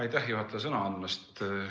Aitäh, juhataja, sõna andmast!